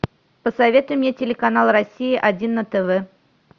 посоветуй мне телеканал россия один на тв